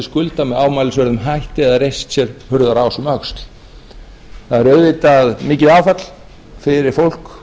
skulda með ámælisverðum hætti eða reist sér hurðarás um öxl það áður auðvitað mikið áfall fyrir fólk